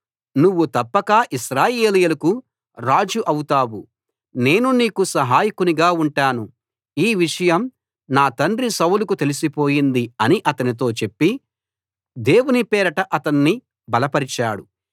నువ్వు తప్పక ఇశ్రాయేలీయులకు రాజు అవుతావు నేను నీకు సహాయకునిగా ఉంటాను ఈ విషయం నా తండ్రి సౌలుకు తెలిసిపోయింది అని అతనితో చెప్పి దేవుని పేరట అతణ్ణి బలపరిచాడు